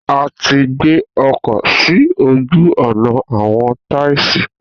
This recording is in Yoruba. A ti gbé ọkọ̀ sí ojú-ọ̀nà àwọn taisí.